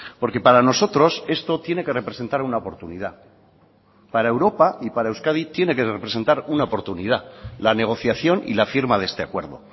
porque para nosotros esto tiene que representar una oportunidad para europa y para euskadi tiene que representar una oportunidad la negociación y la firma de este acuerdo